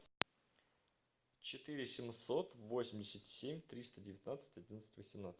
четыре семьсот восемьдесят семь триста девятнадцать одиннадцать восемнадцать